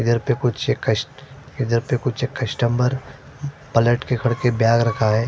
इधर पर कुछ कस्ट इधर पर कुछ कस्टमर पलट के करके बेग रखा है।